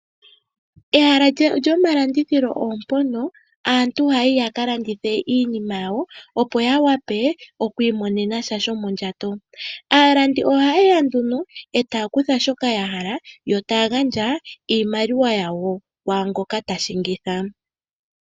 Ehala lyomalandithilo opo mpoka aantu haya yi ya ka landithe iinima yawo, opo ya wape oku imonena sha shomondjato. Aalandi ohaye ya nduno taya kutha shoka ya hala yo taya gandja iimaliwa kwaa ngoka ta shingitha.